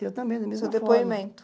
Eu também, da mesma forma. O seu depoimento